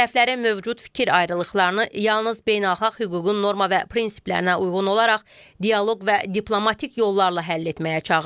Tərəflərin mövcud fikir ayrılıqlarını yalnız beynəlxalq hüququn norma və prinsiplərinə uyğun olaraq dialoq və diplomatik yollarla həll etməyə çağırırıq.